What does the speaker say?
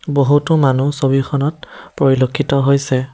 বহুতো মানুহ ছবিখনত পৰিলক্ষিত হৈছে।